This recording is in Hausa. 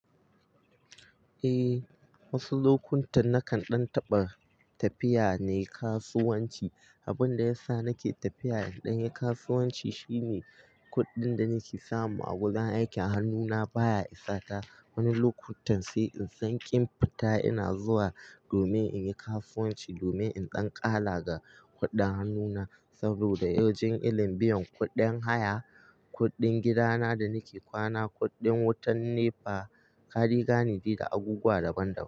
Eh, wasu lokutan nakan ɗan taɓa tafiya ne kasuwanci. Abinda yasa nake tafiya in ɗanyi kasuwanci shine kuɗin da nake samu a wajen aiki a hannuna baya isata wani lokutan sai insan kin fita ina zuwa domin inyi kasuwanci domin in dan kala ga kuɗin hannuna saboda yawancin ilimbi, kuɗin haya, kuɗin gidana da nake ƙwana, kuɗin wutan NEPA, kade gane de, da abubuwa daban-daban.